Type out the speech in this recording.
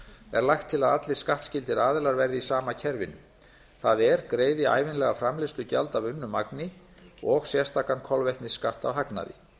er lagt til að allir skattskyldir aðilar verði í sama kerfinu það er greiði ævinlega framleiðslugjald af unnu magni og sérstakan kolvetnisskatt af hagnaði